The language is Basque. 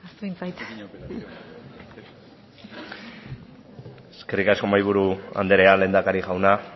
eskerrik asko mahaiburu andrea lehendakari jauna